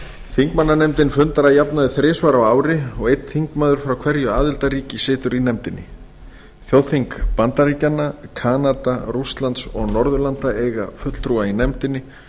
þingmannanefndin fundar að jafnaði þrisvar á ári og einn þingmaður frá hverju aðildarríki situr í nefndinni þjóðþing bandaríkjanna kanada rússlands og norðurlanda eiga fulltrúa í nefndinni